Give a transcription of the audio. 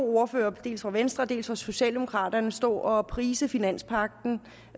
ordførere dels for venstre dels for socialdemokraterne stå og prise finanspagten